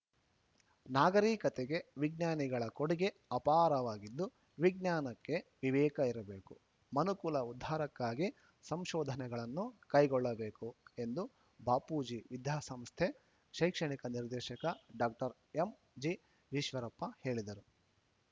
ನಾಗರಿಕತೆಗೆ ವಿಜ್ಞಾನಿಗಳ ಕೊಡುಗೆ ಅಪಾರವಾಗಿದ್ದು ವಿಜ್ಞಾನಕ್ಕೆ ವಿವೇಕ ಇರಬೇಕು ಮನುಕುಲ ಉದ್ಧಾರಕ್ಕಾಗಿ ಸಂಶೋಧನೆಗಳನ್ನು ಕೈಗೊಳ್ಳಬೇಕು ಎಂದು ಬಾಪೂಜಿ ವಿದ್ಯಾಸಂಸ್ಥೆ ಶೈಕ್ಷಣಿಕ ನಿರ್ದೇಶಕ ಡಾಕ್ಟರ್ ಎಂಜಿಈಶ್ವರಪ್ಪ ಹೇಳಿದರು